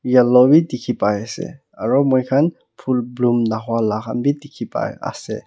yellow bhi dikhi pai ase aru moi khan phule bloom naho laha bi dikhi pai ase.